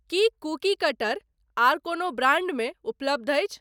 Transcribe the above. की cookie cutter आर कोनो ब्रांडमे उपलब्ध अछि?